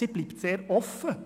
Sie bleibt sehr offen.